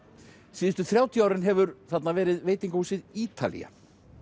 síðustu þrjátíu árin hefur þarna verið veitingahúsið Ítalía